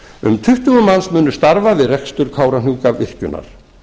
um tuttugu manns munu starfa við rekstur kárahnjúkavirkjunar